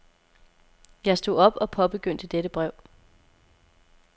Jeg stod op og påbegyndte dette brev.